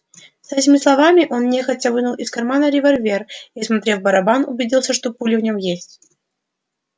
с этими словами он нехотя вынул из кармана револьвер и осмотрев барабан убедился что пули в нём есть